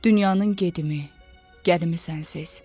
Dünyanın gedimi, gəlimi sənsiz.